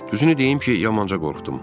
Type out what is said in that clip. Düzünü deyim ki, yamanca qorxdum.